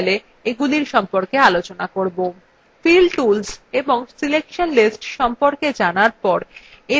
fill tools এবং selection lists সম্পকে জানার share এবার sheetsগুলির মধ্যে বিষয়বস্তু আদানপ্রদান করা নিয়ে আলোচনা করা যাক